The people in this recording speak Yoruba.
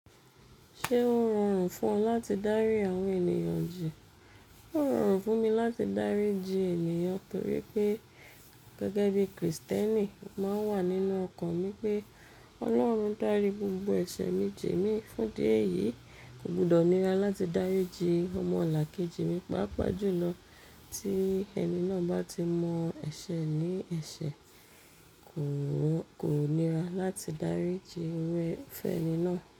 Ṣé ó rọrùn fún ọ láti dárí àwọn ènìyàn jì? Ó rọrùn fún mi láti dárí jí ènìyàn torí pé gẹ́gẹ́ bí Kristẹni, o màá ń wà nínú ọkàn mi pé Ọlọ́run dárí gbogbo ẹ̀ṣẹ̀ mi jì mi. Fún dí ẹ̀yìí, kò gbọdọ̀ nira láti dárí jí ọmọlàkejì mi. Pápá jùlọ tí ẹni náà bá ti mọ ẹṣẹ e ní ẹṣẹ kò, kò nira láti dárí jí irú e, fún ẹni náà.